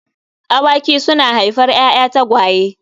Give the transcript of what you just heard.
Awaki suna haifar ‘ya’ya tagwaye.